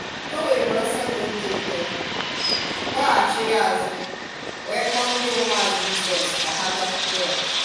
O weere ọsọ na obi ụtọ, gbaghachiri azụ, wee kpọọ ndị ụmụazụ Jịzọs ka ha bịakwute ya.